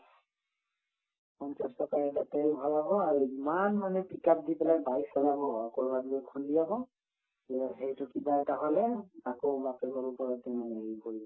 পঞ্চাশ টকাৰ এটা তেল ভৰাব আৰু ইমান মানে pick up দি পেলাই bike চলাব আকৌ কৰবাত নি খুন্দিয়াব সেইটোৰ কিবা এটা হলে আকৌ বাপেকৰ ওপৰতে হেৰি কৰিব